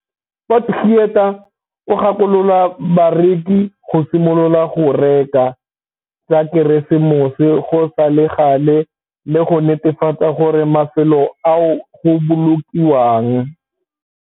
Potgieter o gakolola bareki go simolola go reka dilo tsa Keresemose go sa le gale le go netefatsa gore mafelo ao go bolokiwang